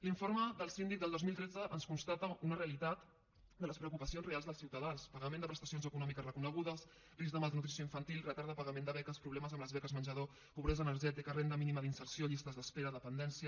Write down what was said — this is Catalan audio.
l’informe del síndic del dos mil tretze ens constata una realitat de les preocupacions reals dels ciutadans pagament de prestacions econòmiques reconegudes risc de malnutrició infantil retard de pagament de beques problemes amb les beques menjador pobresa energètica renda mínima d’inserció llistes d’espera dependència